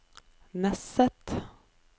Nesset